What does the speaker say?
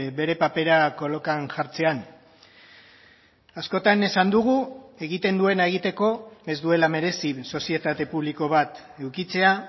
bere papera kolokan jartzean askotan esan dugu egiten duena egiteko ez duela merezi sozietate publiko bat edukitzea